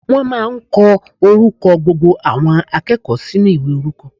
Wọ́n máà ń kọ orúkọ gbogbo àwọn akẹ́kọ̀ọ́ sínú ìwé orúkọ.